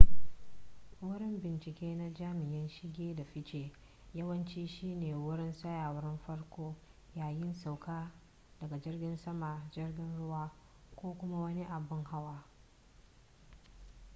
wurin bincike na jami'an shige da fice yawanci shi ne wurin tsayawar farko yayin sauka daga jirgin sama jirgin ruwa ko kuma wani abin hawa